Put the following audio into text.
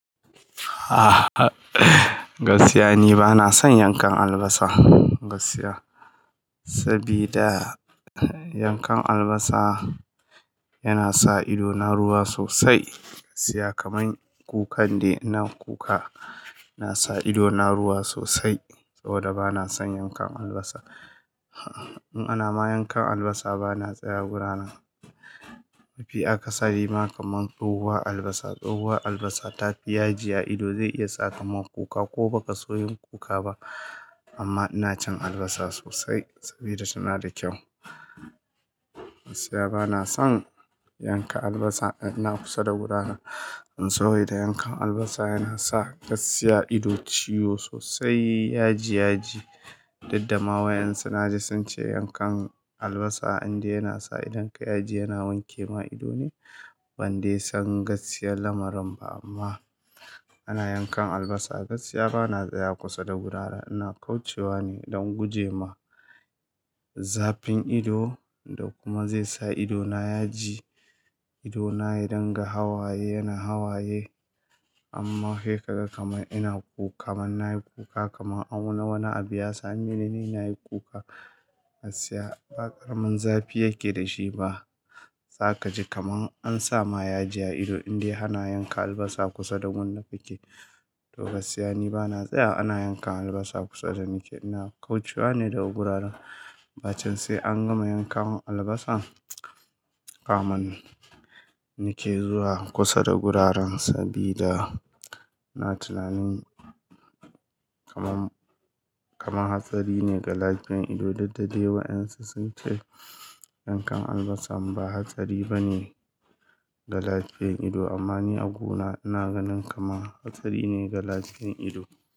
Ah, gaskiya ni bana son yankan albasa. Gaskiya, sabida yankan albasa yana sa idona ruwa sosai. Gaskiya kamar kukan de, ina kuka. Yana sa idona ruwa sosai saboda bana son yankan albasa. In ana ma yankan albasa bana tsaya wurin. Mafi akasari ma kamar tsohuwar albasa, tsohuwar albasa ta fi yaji a ido zai iya sa kamar kuka ko baka so yin kuka ba. Amma ina cin albasa sosai sabida tana da kyau. Gaskiya bana son yanka albasa, ina kusa da wurin. Saboda yankan albasa yana sa gaskiya ido ciwo sosai, yaji yaji. Duddama wa ƴan su na ji sun ce yankan albasa inda yana sa idonka yaji yana wanke ma ido ne, ban de san gaskiyar lamarin ba amma ana yankan albasa. Gaskiya bana tsaya kusa da gurara. Ina kaucewa ne don gujema zafin ido da kuma zai sa ido na yaji. Ido na ya dunga hawaye, yana hawaye. Amma kai ka ga kamar ina kuka man na yi kuka kamar a wani abu ya same ni ne na yi kuka. Gaskiya ba ƙaramin zafi yake da shi ba. Za ka ji kamar an sa ma yaji a ido indai ana yanka albasa kusa da gun da kake to gaskiya ni bana tsayawa ana yanka albasa kusa da nike. Ina kaucewa ne da guraren. Bacin sai an gama yanka min albasan kamun nike zuwa kusa da guraren sabida ina tunanin kamar, kamar hatsari ne ga lafiyan ido. Dudda dai wa ƴan su sun ce yankan albasa ba hatsari ba ne ga lafiyan ido amma ni a gona ina ganin kamar hatsari ne ga lafiyan ido.